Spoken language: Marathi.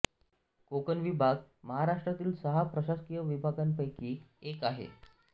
कोकण विभाग महाराष्ट्रातील सहा प्रशासकीय विभागांपैकी एक आहे